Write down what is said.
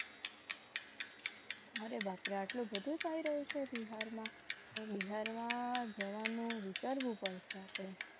અરે બાપ રે આટલો બધો પહેર્યો છે. બિહારમાં જ્વાનું પણ માં વિચારવું પડશે. આપણે